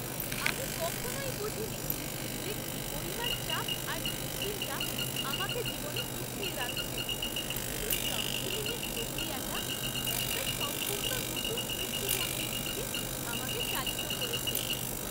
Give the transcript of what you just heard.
আমি কখনই বুঝিনি যে কী পরিমাণ চাপ আর দুশ্চিন্তা আমাকে জীবনে পিছিয়ে রাখছে। এই কাউন্সেলিংয়ের প্রক্রিয়াটা একটা সম্পূর্ণ নতুন দৃষ্টিভঙ্গির দিকে আমাকে চালিত করেছে!